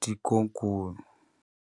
tikokulu.